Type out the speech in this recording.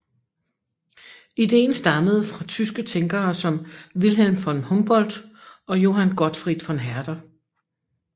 Ideen stammede fra tyske tænkere som Wilhelm von Humboldt og Johann Gottfried von Herder